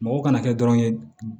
Mɔgɔ kana kɛ dɔrɔn ye